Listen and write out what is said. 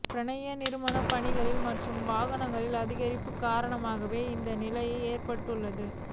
பாரிய நிர்மாணப் பணிகளின் மற்றும் வாகனங்களின் அதிகரிப்பு காரணமாகவே இந்த நிலைமைஏற்பட்டுள்ளது